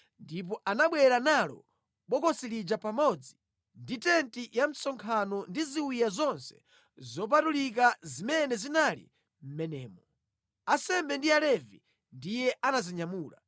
ndipo anabwera nalo bokosi lija pamodzi ndi tenti ya msonkhano ndi ziwiya zonse zopatulika zimene zinali mʼmenemo. Ansembe ndi Alevi ndiye anazinyamula,